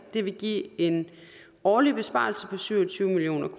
det vil give en årlig besparelse på syv og tyve million